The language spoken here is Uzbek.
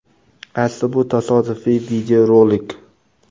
Asli bu tasodifiy videorolik.